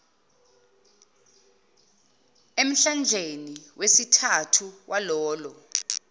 emhlandleni wesithathu walolo